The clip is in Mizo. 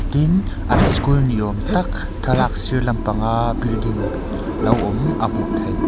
an school ni awm tak thlalak sir lam panga building lo awm a hmuh theih--